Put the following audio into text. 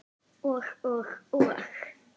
Og og og?